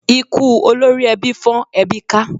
Ikú olórí ẹbí fọ́n ẹbí ká.